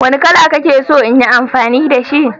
Wanne kala kake so in yi amfani da shi